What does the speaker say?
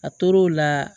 A tor'o la